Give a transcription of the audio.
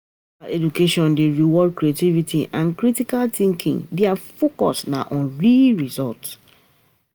Informal education dey reward creativity and critical thinking, di focus na on real result.